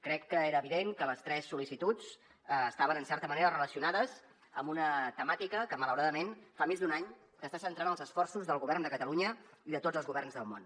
crec que era evident que les tres sol·licituds estaven en certa manera relacionades amb una temàtica que malauradament fa més d’un any que està centrant els esforços del govern de catalunya i de tots els governs del món